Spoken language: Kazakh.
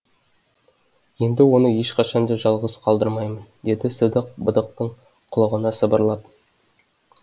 енді оны ешқашанда жалғыз қалдырмаймын деді сыдық быдықтың құлағына сыбырлап